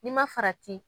N'i ma farati